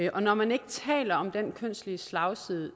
og når man ikke taler om den kønsmæssige slagside